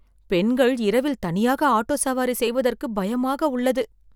பெண்கள் இரவில் தனியாக ஆட்டோ சவாரி செய்வதற்கு பயமாக உள்ளது